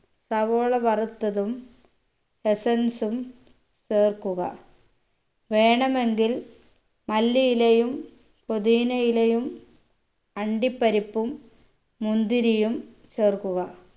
സവോള വറുത്തതും essence ഉം ചേർക്കുക വേണമെങ്കിൽ മല്ലിയിലയും പുതിന ഇലയും അണ്ടിപ്പരിപ്പും മുന്തിരിയും ചേർക്കുക